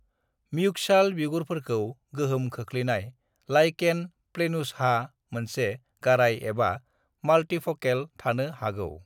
म्यूकसाल बिगुरफोरखौ गोहोम खोख्लैनाय लाइकेन प्लेनुसहा मोनसे गाराय एबा माल्टीफकेल थानो हागौ।